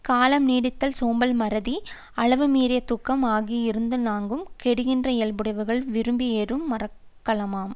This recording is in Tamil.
காலம் நீட்டித்தல் சோம்பல் மறதி அளவு மீறியத் தூக்கம் ஆகிய இந் நான்கும் கெடுகின்ற இயல்புடையவர் விரும்பி ஏறும் மரக்கலமாம்